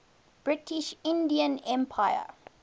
british indian empire